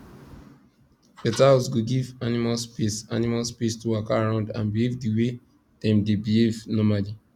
better house go give animals space animals space to waka around and behave the way dem dey behave normally